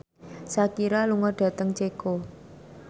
Shakira lunga dhateng Ceko